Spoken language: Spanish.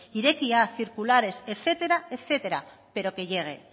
irekia circulares etcétera etcétera pero que llegue